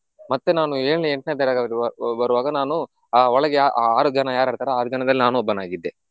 ಮತ್ತೆ ನಾನು ಏಳ್ನೆ ಎಂಟ್ನೆ ತರಗತಿಗೆ ಬ~ ಬರುವಾಗ ನಾನು ಆಹ್ ಒಳಗೆ ಆ ಆರು ಜನ ಯಾರಿರ್ತಾರೆ ಆ ಆರು ಜನದಲ್ಲಿ ಒಬ್ಬನಾಗಿದ್ದೆ.